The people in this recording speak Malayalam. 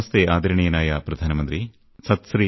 നമസ്തേ ആദരണീയനായ പ്രധാനമന്ത്രി സത്ശ്രീഅകാൽ